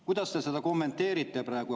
Kuidas te seda kommenteerite?